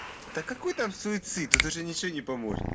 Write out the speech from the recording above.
да какой там суицид это же ничего не поможет